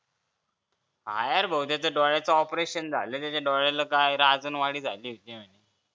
हा यार भो त्याच्या डोळ्यांचं operation झालं होतं त्याच्या डोळ्यांना काय राजणवाडी झाली होती